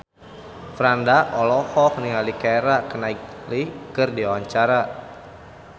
Franda olohok ningali Keira Knightley keur diwawancara